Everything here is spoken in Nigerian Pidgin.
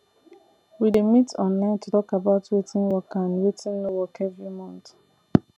we dey meet online to talk about wetin work and wetin no work every month